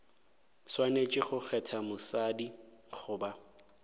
swanetše go kgetha mosadi goba